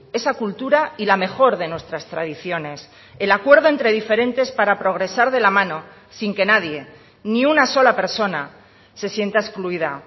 esa cultura y la mejor de nuestras tradiciones el acuerdo entre diferentes para progresar de la mano sin que nadie ni una sola persona se sienta excluida